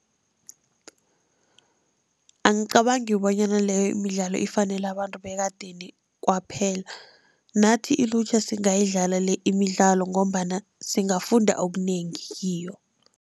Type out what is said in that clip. Angicabangi bonyana leyo imidlalo ifanele abantu bekadeni kwaphela nathi ilutjha singayidlala le imidlalo, ngombana singafunda okunengi kiyo.